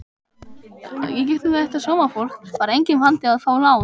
Í gegnum þetta sómafólk var enginn vandi að fá lán.